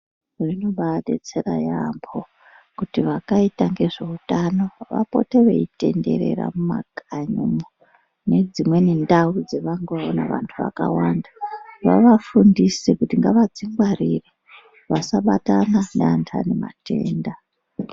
Zvinobadetsera yaambo kuti vakaita ngezveutano vapote veitenderera mumakanyi umwo nedzimweni ndau dzavangaona vantu vakawanda vavafundise kuti ngavadzingwarire vasabatana nevantu vanematenda.